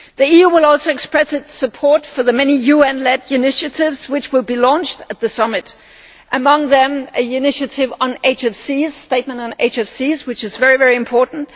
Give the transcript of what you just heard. The EU will also express its support for the many UN led initiatives which will be launched at the summit, among them an initiative on HFCs a statement on HFCs, which is very, very important